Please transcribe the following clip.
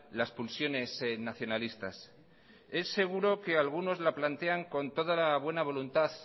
las pulsiones nacionalistas es seguro que algunos la plantean con toda la buena voluntad